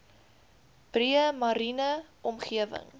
breë mariene omgewing